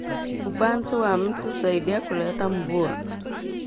Upanzi wa miti husaidia kuleta mvua